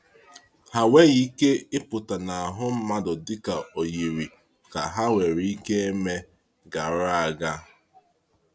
Ha enweghị ike ịpụta n’ahụ mmadụ dịka o yiri ka ha nwere ike eme gara aga.